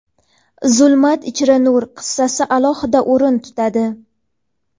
"Zulmat ichra nur" qissasi alohida o‘rin tutadi.